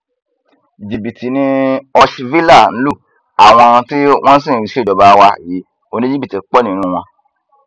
jìbìtì ni húshhvilă ń lu àwọn tí wọn sì ń ṣèjọba wa yìí oníjìbìtì pọ nínú wọn